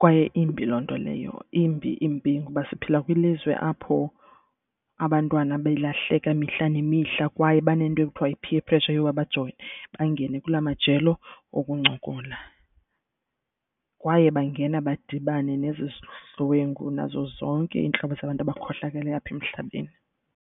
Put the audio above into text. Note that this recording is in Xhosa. kwaye imbi loo nto leyo imbi imbi. Ngoba siphila kwilizwe apho abantwana belahleka mihla nemihla kwaye banento ekuthwa yi-peer pressure yoba bajole bangene kula majelo okuncokola. Kwaye bangena badibane nezizidlwengu nazo zonke iintlobo zabantu abakhohlakeleyo apha emhlabeni.